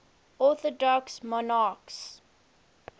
orthodox monarchs